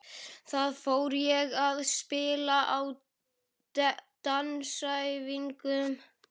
Þá fór ég að spila á dansæfingum.